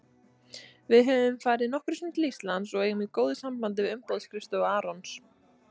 Við höfum farið nokkrum sinnum til Íslands og eigum í góðu sambandi við umboðsskrifstofu Arons.